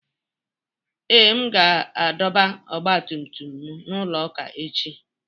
Ee, m ga-adọba ọgba tum tum m na n'ụlọ ụka echi.